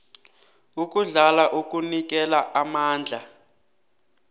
ukudla okunikela amandla